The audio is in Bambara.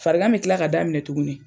Farigan bɛ kila ka daminɛ tugunni.